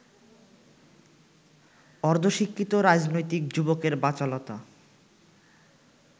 অর্ধশিক্ষিত রাজনৈতিক যুবকের বাচালতা